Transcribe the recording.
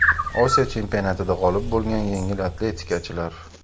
Osiyo chempionatida g‘olib bo‘lgan yengil atletikachilar.